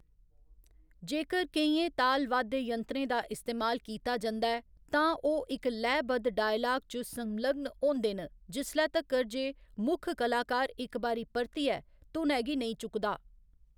जेकर केइयें तालवाद्य यंत्रें दा इस्तेमाल कीता जंदा ऐ, तां ओह्‌‌ इक लैऽ बद्ध डायलाग च संलग्न होंदे न जिसलै तक्कर जे मुक्ख कलाकार इक बारी परतियै धुनै गी नेईं चुकदा।